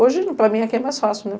Hoje, para mim, aqui é mais fácil, né?